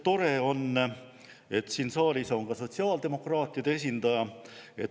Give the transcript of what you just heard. Tore on, et siin saalis on ka sotsiaaldemokraatide esindaja.